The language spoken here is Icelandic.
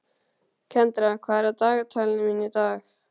Kendra, hvað er á dagatalinu mínu í dag?